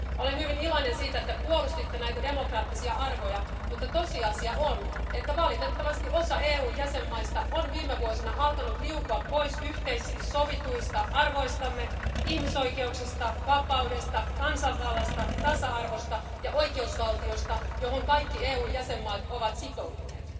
Olen hyvin iloinen siitä, että puolustitte näitä demokraattisia arvoja, mutta tosiasia on, että valitettavasti osa EUn jäsenmaista on viime vuosina alkanut liukua pois yhteisesti sovituista arvoistamme ihmisoikeuksista, vapaudesta, kansanvallasta, tasa-arvosta ja oikeusvaltiosta, johon kaikki EUn jäsenmaat ovat sitoutuneet.